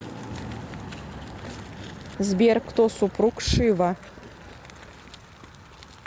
сбер кто супруг шива